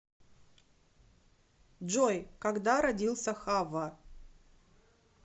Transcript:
джой когда родился хавва